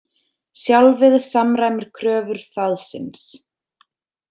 Sjálfið samræmir kröfur þaðsins.